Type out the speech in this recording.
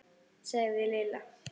sagði Lilla.